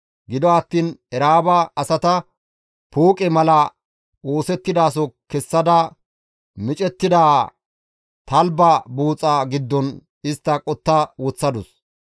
Gido attiin Era7aaba asata pooqe mala oosettidaso kessada micettida talbba buuxa giddon istta qotta woththadus.